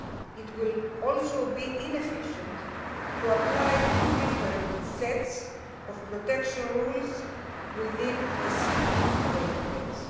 it would also be inefficient to apply two different sets of data protection rules within a single database.